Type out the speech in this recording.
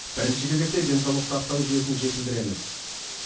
бірінші кезекте денсаулық сақтау жүйесін жетілдіреміз